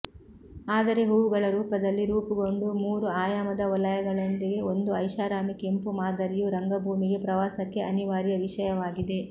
ಆದರೆ ಹೂವುಗಳ ರೂಪದಲ್ಲಿ ರೂಪುಗೊಂಡ ಮೂರು ಆಯಾಮದ ವಲಯಗಳೊಂದಿಗೆ ಒಂದು ಐಷಾರಾಮಿ ಕೆಂಪು ಮಾದರಿಯು ರಂಗಭೂಮಿಗೆ ಪ್ರವಾಸಕ್ಕೆ ಅನಿವಾರ್ಯ ವಿಷಯವಾಗಿದೆ